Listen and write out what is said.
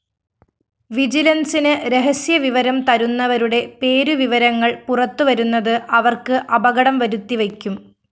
വിജിലന്‍സിന് രഹസ്യവിവരം തരുന്നവരുടെ പേരുവിവരങ്ങള്‍ പുറത്തുവരുന്നത് അവര്‍ക്ക് അപകടം വരുത്തിവയ്ക്കും